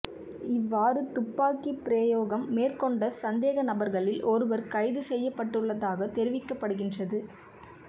இவ்வாறு துப்பாக்கிப் பிரயோகம் மேற்கொண்ட சந்தேகநபர்களில் ஒருவர் கைது செய்யப்பட்டுள்ளதாக தெரிவிக்கப்படுகின்றது